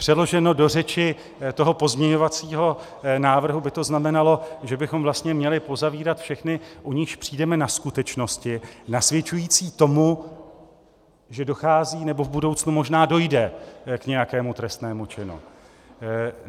Přeloženo do řeči toho pozměňovacího návrhu by to znamenalo, že bychom vlastně měli pozavírat všechny, u nichž přijdeme na skutečnosti nasvědčující tomu, že dochází nebo v budoucnu možná dojde k nějakému trestnému činu.